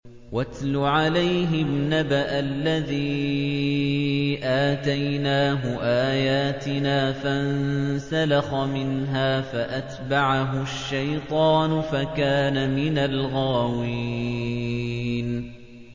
وَاتْلُ عَلَيْهِمْ نَبَأَ الَّذِي آتَيْنَاهُ آيَاتِنَا فَانسَلَخَ مِنْهَا فَأَتْبَعَهُ الشَّيْطَانُ فَكَانَ مِنَ الْغَاوِينَ